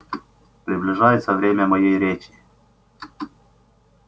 приближается время моей речи